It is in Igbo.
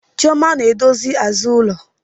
Chioma na-edozi azụ ulo